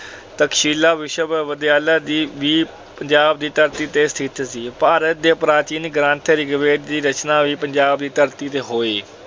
ਤਕਸ਼ੀਲਾ ਵਿਸ਼ਵਵਿਦਿਆਲਾ ਵੀ ਪੰਜਾਬ ਦੀ ਧਰਤੀ ਤੇ ਸਥਿਤ ਸੀ। ਭਾਰਤ ਦੇ ਪ੍ਰਾਚੀਨ ਗ੍ਰੰਥ ਰਿਗਵੇਦ ਦੀ ਰਚਨਾ ਵੀ ਪੰਜਾਬ ਦੀ ਧਰਤੀ ਤੇ ਹੋਈ।